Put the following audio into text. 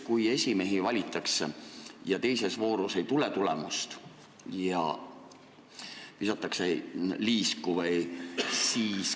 Kui esimeest valitakse ja ka teises voorus ei tule tulemust, siis visatakse liisku.